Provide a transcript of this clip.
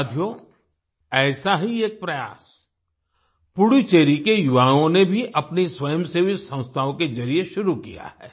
साथियो ऐसा ही एक प्रयास पुडुचेरी के युवाओं ने भी अपनी स्वयंसेवी संस्थाओं के जरिए शुरू किया है